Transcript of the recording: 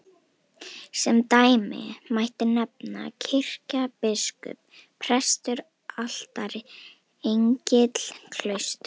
Sem dæmi mætti nefna kirkja, biskup, prestur, altari, engill, klaustur.